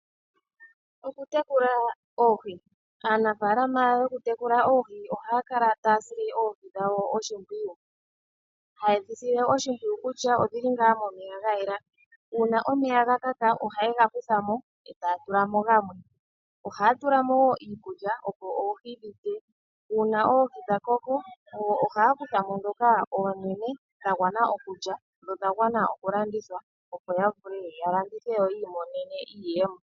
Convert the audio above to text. Okutekula oohi. Aanafalama yokutekula oohi ohaya kala taya sile oohi dhawo oshimpwiyu. Ha ye dhi sile oshimpwiyu kutya odhi li ngaa momeya ga yela. Uuna omeya ga kaka, ohaye ga kutha mo e taya tula mo gamwe. Ohaya tula mo wo iikulya opo oohi dhilye, uuna oohi dha koko ohaya kutha mo dhoka oonene dha gwana okulya, dho odha gwana okulandithwa. Opo ya vule ya landithe yo ya imonene iiyemo.